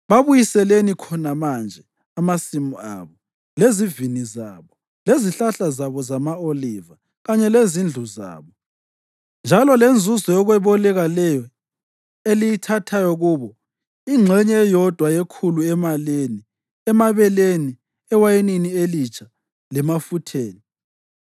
Babuyiseleni khona manje amasimu abo, lezivini zabo, lezihlahla zabo zama-oliva kanye lezindlu zabo, njalo lenzuzo yokweboleka leyo eliyithathayo kubo, ingxenye eyodwa yekhulu emalini, emabeleni, ewayinini elitsha lemafutheni.”